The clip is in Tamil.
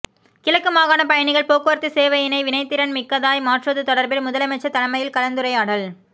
கிழக்கு மாகாண பயணிகள் போக்குவரத்து சேவையினை வினைத்திறன் மிக்கதாய் மாற்றுவது தொடர்பில் முதலமைச்சர் தலைமையில் கலந்துரையாடல்